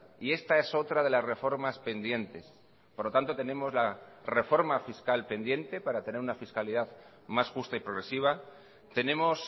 y esta es otra de las reformas pendientes por lo tanto tenemos la reforma fiscal pendiente para tener una fiscalidad más justa y progresiva tenemos